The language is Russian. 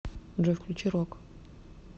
джой включи рок